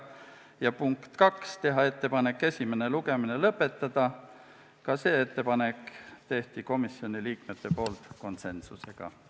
Ja teiseks otsustati teha ettepanek esimene lugemine lõpetada, ka selle ettepaneku tegid komisjoni liikmed konsensusega.